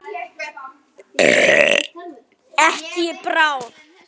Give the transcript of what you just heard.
Ekki í bráð.